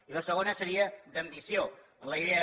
i la segona seria d’ambició en la idea